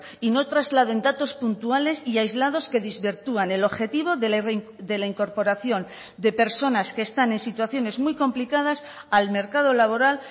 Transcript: y no trasladen datos puntuales y aislados que desvirtúan el objetivo de la incorporación de personas que están en situaciones muy complicadas al mercado laboral